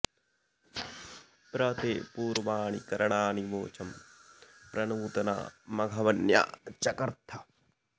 प्र ते पूर्वाणि करणानि वोचं प्र नूतना मघवन्या चकर्थ